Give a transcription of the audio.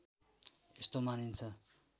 यस्तो मानिन्छ